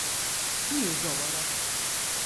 Ni ugovorov.